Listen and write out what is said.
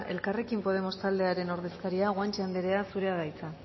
elkarrekin podemos taldearen ordezkaria guanche anderea zurea da hitza